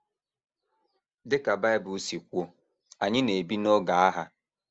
Dị ka Bible si kwuo, anyị na - ebi n’oge agha.